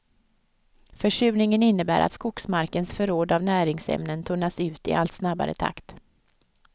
Försurningen innebär att skogsmarkens förråd av näringsämnen tunnas ut i allt snabbare takt.